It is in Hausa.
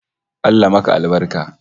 Allah maka albarka!